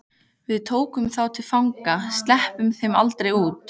Við tökum þá til fanga. sleppum þeim aldrei út.